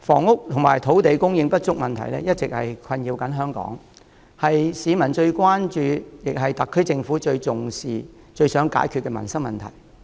主席，房屋及土地供應不足問題一直困擾香港，是市民最關注，亦是特區政府最重視、最想解決的民生問題。